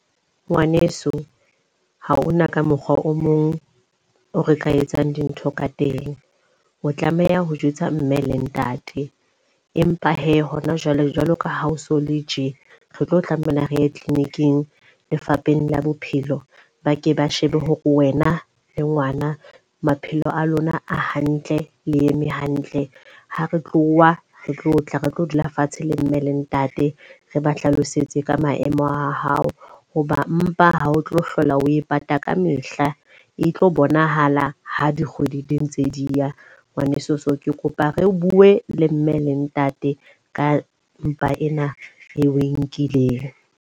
Ngwaneso, ha hona ka mokgwa o mong o re ka etsang dintho ka teng. O tlameha ho jwetsa mme le ntate. Empa he hona jwale, jwalo ka ha o so le tje. Re tlo tlameha re ye clinic-ing, Lefapheng la Bophelo. Ba ke ba shebe hore wena le ngwana maphelo a lona a hantle le eme hantle. Ha re tloha re tlo tla re tlo dula fatshe le mme le ntate re ba hlalosetse ka maemo a hao. Hoba mpa ha o tlo hlola o e pata ka mehla, e tlo bonahala ha dikgwedi di ntse di ya ngwaneso. So, ke kopa re bue le mme le ntate ka mpa ena re o e nkileng.